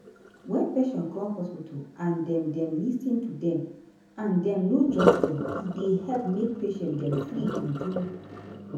wen patient come hospital and dem dem lis ten to dem and dem no judge dem e dey help make patient dem free true true.